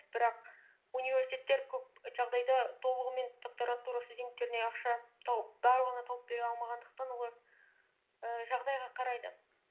бірақ университеттер көп жағдайда толығымен докторантура студенттеріне ақша барлығына тауып бере алмағандықтан олар ііі жағдайға қарайды